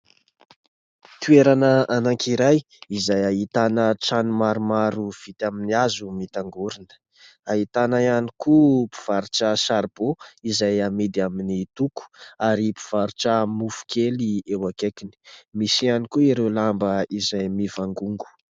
Toerana anankiray izay ahitana trano maromaro vita amin'ny hazo mitangorina. Ahitana ihany koa mpivarotra saribo izay amidy amin'ny toko ary mpivarotra mofo kely eo akaikiny. Misy ihany koa ireo lamba izay mivangongo.